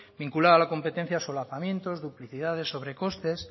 vinculaba la competencia a solapamientos duplicidades sobrecostes